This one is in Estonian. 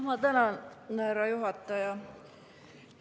Ma tänan, härra juhataja!